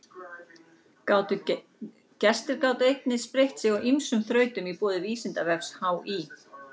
Gestir gátu einnig spreytt sig á ýmsum þrautum í boði Vísindavefs HÍ.